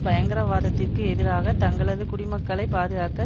பயங்கரவாதத்திற்கு எதிராக தங்களது குடிமக்களை பாதுகாக்க